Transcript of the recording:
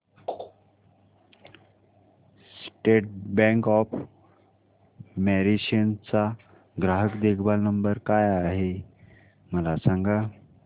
state bank of Mauritius चा ग्राहक देखभाल नंबर काय आहे मला सांगा